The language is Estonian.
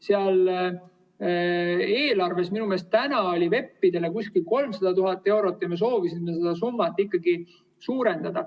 Seal eelarves on minu meelest VEP‑idele kuskil 300 000 eurot ja me soovisime seda summat suurendada.